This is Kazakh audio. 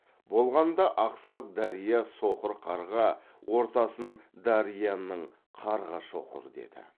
болғанда ақсақ дария соқыр қарға ортасын дарияның қарға шоқыр деді